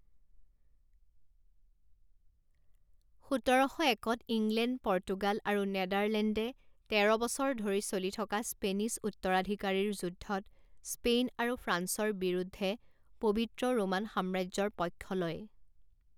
সোতৰশ একত England, Portugal আৰু নেডাৰলেণ্ডে তেৰ বছৰ ধৰি চলি থকা স্পেনিছ উত্তৰাধিকাৰীৰ যুদ্ধত স্পেইন আৰু ফ্ৰান্সৰ বিৰুদ্ধে পবিত্ৰ ৰোমান সাম্ৰাজ্যৰ পক্ষ লয়।